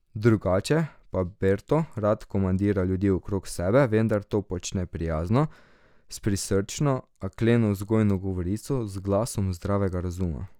Drugače pa Berto rad komandira ljudi okrog sebe, vendar to počne prijazno, s prisrčno, a kleno vzgojno govorico, z glasom zdravega razuma.